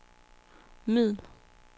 middel